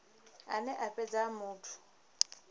ane a fhedza a muthu